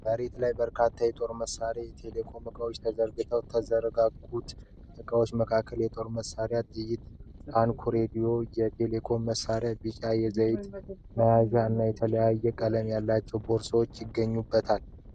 መሬት ላይ በርካታ የጦር መሳሪያዎችና የቴሌኮም እቃዎች ተዘርግተዋል። ከተዘረጉት እቃዎች መካከል የጦር መሣሪያ ጥይቶች፣ ታንኮች፣ ራዲዮዎች፣ የቴሌኮም መሣሪያዎች፣ ቢጫ የዘይት መያዣዎች እና የተለያየ ቀለም ያላቸው ቦርሳዎች ይገኙበታል።